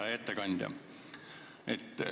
Hea ettekandja!